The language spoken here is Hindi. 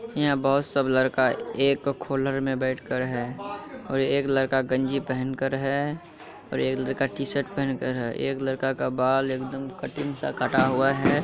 यहां बहुत सब लड़का एक खोलर में बैठकर है और एक लड़का गंजी पहनकर है और एक लड़का टी-शर्ट पहनकर है| एक लड़का का बाल एकदम कटिंग सा कटा हुआ है।